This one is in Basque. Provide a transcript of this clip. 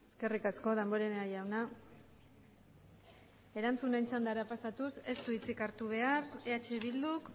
eskerrik asko damborenea jauna erantzunen txandara pasatuz ez du hitzik hartu behar eh bilduk